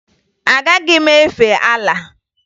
Agaghị m efe Alaa